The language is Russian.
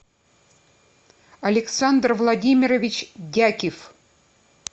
александр владимирович дякив